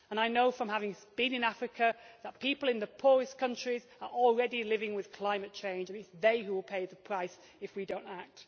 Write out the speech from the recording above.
I know from having been in Africa that people in the poorest countries are already living with climate change, and it is they who will pay the price if we do not act.